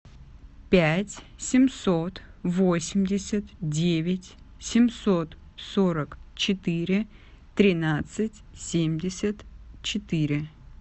пять семьсот восемьдесят девять семьсот сорок четыре тринадцать семьдесят четыре